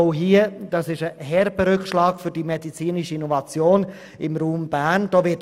Bei dieser Sparmassnahme würde es sich um einen herben Rückschlag für die medizinische Innovation im Raum Bern handeln.